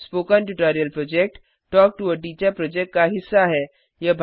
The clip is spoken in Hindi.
spoken tutorial project talk to a teacher project का हिस्सा है